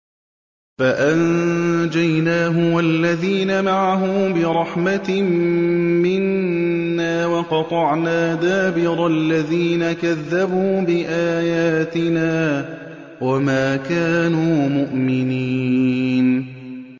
فَأَنجَيْنَاهُ وَالَّذِينَ مَعَهُ بِرَحْمَةٍ مِّنَّا وَقَطَعْنَا دَابِرَ الَّذِينَ كَذَّبُوا بِآيَاتِنَا ۖ وَمَا كَانُوا مُؤْمِنِينَ